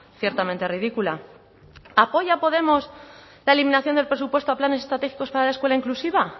ciertamente ridícula apoya podemos la eliminación del presupuesto a planes estratégicos para la escuela inclusiva